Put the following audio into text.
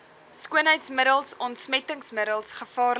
skoonheidsmiddels ontsmettingsmiddels gevaarlike